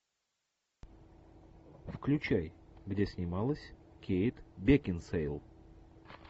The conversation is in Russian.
включай где снималась кейт бекинсейл